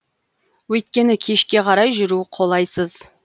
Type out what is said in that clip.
өйткені кешке қарай жүру қолайсыз